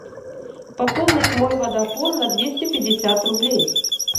пополнить мой водафон на двести пятьдесят рублей